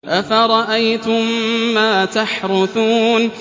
أَفَرَأَيْتُم مَّا تَحْرُثُونَ